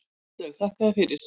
Áslaug: Þakka þér fyrir.